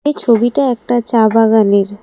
এই ছবিটা একটা চা বাগানের।